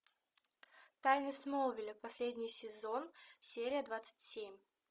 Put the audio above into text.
тайны смолвиля последний сезон серия двадцать семь